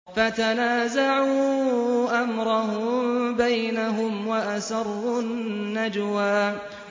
فَتَنَازَعُوا أَمْرَهُم بَيْنَهُمْ وَأَسَرُّوا النَّجْوَىٰ